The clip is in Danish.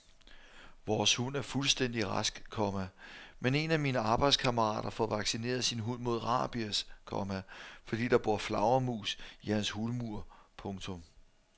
Vores hund er fuldstændig rask, komma men en af mine arbejdskammerater får vaccineret sin hund mod rabies, komma fordi der bor flagermus i hans hulmur. punktum